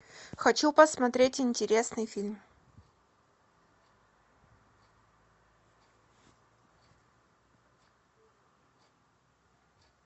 хочу посмотреть интересный фильм